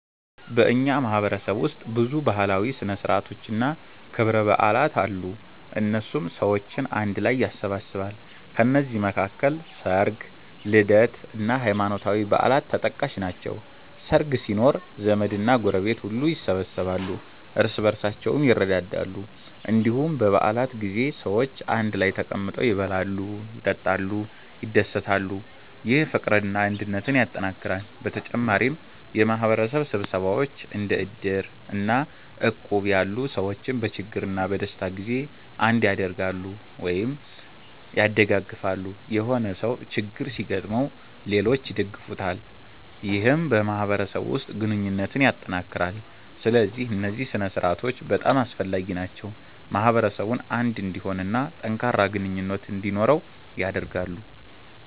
በእኛ ማህበረሰብ ውስጥ ብዙ ባህላዊ ሥነ ሥርዓቶችና ክብረ በዓላት አሉ፣ እነሱም ሰዎችን አንድ ላይ ያሰባስባሉ። ከነዚህ መካከል ሰርግ፣ ልደት እና ሃይማኖታዊ በዓላት ተጠቃሽ ናቸው። ሰርግ ሲኖር ዘመድና ጎረቤት ሁሉ ይሰበሰባሉ፣ እርስ በርሳቸውም ይረዳዳሉ። እንዲሁም በ በዓላት ጊዜ ሰዎች አንድ ላይ ተቀምጠው ይበላሉ፣ ይጠጣሉ፣ ይደሰታሉ። ይህ ፍቅርና አንድነትን ያጠናክራል። በተጨማሪም የማህበረሰብ ስብሰባዎች እንደ እድር እና እቁብ ያሉ ሰዎችን በችግርና በደስታ ጊዜ አንድ ያደርጋሉ(ያደጋግፋሉ)።የሆነ ሰው ችግር ሲገጥመው ሌሎች ይደግፉታል ይህም በማህበረሰቡ ውስጥ ግንኙነትን ያጠናክራል። ስለዚህ እነዚህ ሥነ ሥርዓቶች በጣም አስፈላጊ ናቸው፣ ማህበረሰቡን አንድ እንዲሆን እና ጠንካራ ግንኙነት እንዲኖረው ያደርጋሉ።